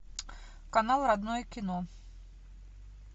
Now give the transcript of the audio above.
канал родное кино